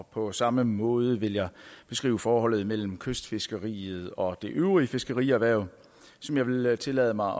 og på samme måde vil jeg beskrive forholdet mellem kystfiskeriet og det øvrige fiskerierhverv som jeg vil tillade mig